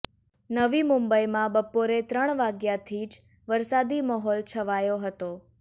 નવી મુંબઇમાં બપોરે ત્રણ વાગ્યાથી જ વરસાદી માહોલ છવાયો હતો